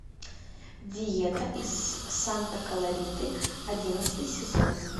диета из санта клариты одиннадцатый сезон